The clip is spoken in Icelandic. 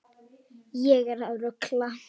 Ég er að rugla.